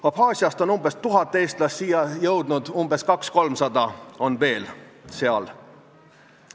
Abhaasiast on umbes tuhat eestlast siia jõudnud, 200–300 on veel seal.